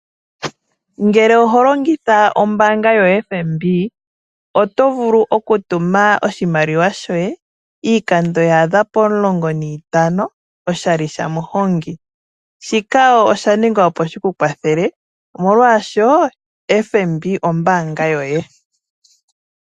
Ngele oho longitha ombaanga yoFNB oto vulu oku tuma oshimaliwa shoye iikando ya adha pomulongo niitano oshali shaMuhongi. Shika osha ningwa opo shi ku kwathele molwaashono FNB ombaanga yoye.